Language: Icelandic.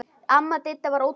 Amma Didda var ótrúleg kona.